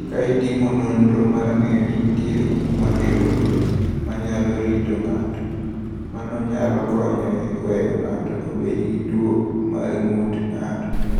"Ka itimo nonro mar ng’eyo ni nitie gik ma geng’o tuoche ma nyalo rito ng’ato, mano nyalo konyo e weyo ng’ato obed gi tuwo mar ng’ut ng’ato."